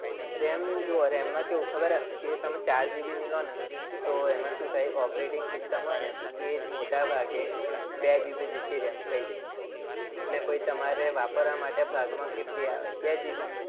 RAM જુઓ RAM માં કેવું ખબર હે? કે તમે ચાર GB ની લો ને તો એમાં શું થાય? operating system હોય ને એ મોટા ભાગે બે GB જેટલી RAM ખાઈ જાય. એટલે પછી તમારે વાપરવામાં ભાગમાં કેટલી આવે બે GB.